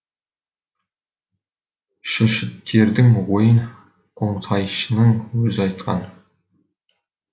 шүршіттердің ойын қонтайшының өзі айтқан